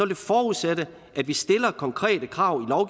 det forudsætte at vi stiller konkrete krav